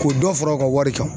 K'o dɔ fara u ka wari kan.